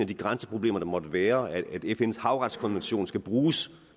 de grænseproblemer der måtte være og at fns havretskonvention skal bruges